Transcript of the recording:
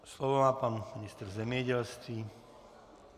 Slovo má pan ministr zemědělství.